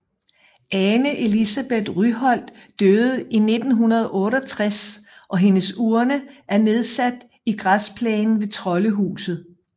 Ane Elisabet Ryholdt døde i 1968 og hendes urne er nedsat i græsplænen ved Troldehuset